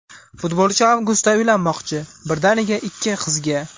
Futbolchi avgustda uylanmoqchi, birdaniga ikki qizga!.